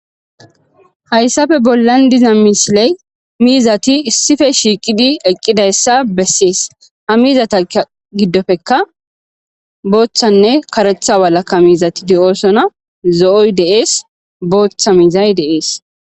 hayssafe bollan diza misiley miizati issife shiiqidi eqqidayssa bessees ha miizata giddofekka booththanne karetha walakka miizati de7oosona zo7oy deees booththa miizay deees